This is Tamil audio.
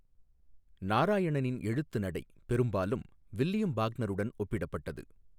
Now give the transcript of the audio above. நாராயணனின் எழுத்துநடை பெரும்பாலும் வில்லியம் பாக்னருடன் ஒப்பிடப்பட்டது.